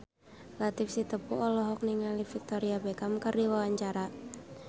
Latief Sitepu olohok ningali Victoria Beckham keur diwawancara